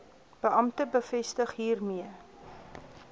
beampte bevestig hiermee